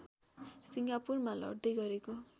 सिङ्गापुरमा लड्दै गरेको